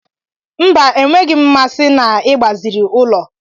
Mba enweghị m mmasị na igbaziri ụlọ.